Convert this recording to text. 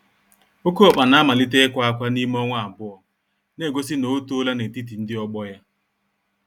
Oké ọkpa namalite ikwa ákwà n'ime ọnwa abụọ, negosi na otoola n'etiti ndị ọgbọ ya.